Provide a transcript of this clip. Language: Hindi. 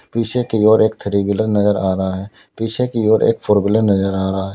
पीछे की ओर एक थ्री व्हीलर नजर आ रहा है पीछे की ओर एक फोर व्हीलर नजर आ रहा है।